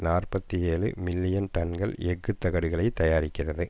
நாற்பத்தி ஏழு மில்லியன் டன்கள் எஃகு தகடுகளை தயாரிக்கிறது